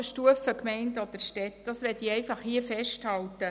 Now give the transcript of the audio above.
Dies möchte ich hier festhalten.